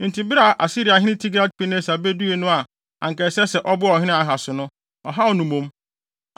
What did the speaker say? Enti bere a Asiriahene Tilgat-Pilneser bedui no a anka ɛsɛ sɛ ɔboa ɔhene Ahas no, ɔhaw no mmom.